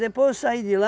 Depois eu saí de lá,